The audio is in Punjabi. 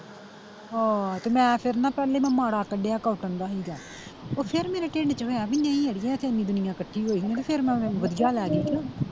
ਹੋਰ ਤੇ ਮੈਂ ਫਿਰ ਨਾ ਪਹਿਲੇ ਮੈਂ ਮਾੜਾ ਕੱਡਿਆ cotton ਦਾ ਸੀਗਾ, ਓਥੇ ਨੀ ਮੈਨੂੰ ਕਿਸੇ ਨੇ ਬੀ ਨਹੀਂ ਅੜੀਏ ਇਥੇ ਏਨੀ ਦੁਨੀਆ ਕੱਠੀ ਹੋਈ ਆ ਫਿਰ ਮੈਂ ਵਧੀਆ ਲੈਗੀ ਸੀ ਕੇ।